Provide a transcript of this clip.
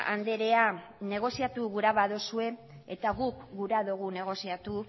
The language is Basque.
andrea negoziatu gura baduzue eta guk gurea dugu negoziatu